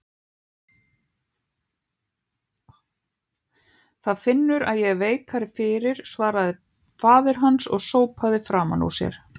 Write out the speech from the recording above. Það finnur að ég er veikari fyrir, svaraði faðir hans og sópaði framan úr sér.